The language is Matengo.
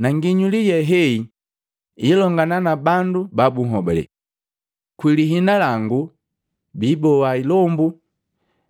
Na nginyuli ye heyi ilongana na bandu bahobalee. Kwi liina langu biiboa ilombu